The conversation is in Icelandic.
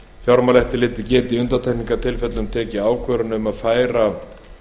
fjármálaeftirlitið geti í undantekningartilfellum tekið ákvörðun um að færa